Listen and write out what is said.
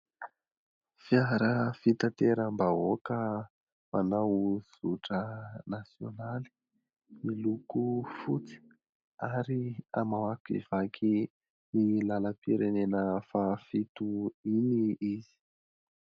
Fiara fitateram-bahoaka manao zotra nasionaly, miloko fotsy ary mamakivaky iny lalam-pirenena fahafito iny izy.